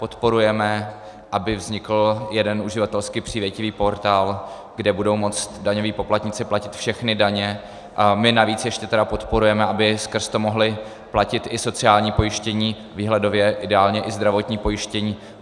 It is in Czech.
Podporujeme, aby vznikl jeden uživatelsky přívětivý portál, kde budou moci daňoví poplatníci platit všechny daně, a my navíc ještě tedy podporujeme, aby skrz to mohli platit i sociální pojištění, výhledově ideálně i zdravotní pojištění.